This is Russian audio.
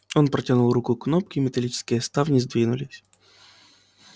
он протянул руку к кнопке и металлические ставни сдвинулись